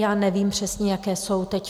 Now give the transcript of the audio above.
Já nevím přesně, jaké jsou teď.